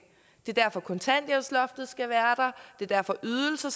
det er derfor kontanthjælpsloftet skal være der det er derfor ydelser